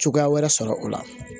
Cogoya wɛrɛ sɔrɔ o la